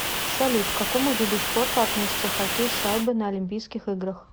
салют к какому виду спорта относится хоккей с шайбой на олимпийских играх